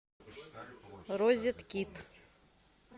розеткид